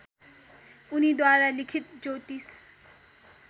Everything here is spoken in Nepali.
उनीद्वारा लिखित ज्योतिष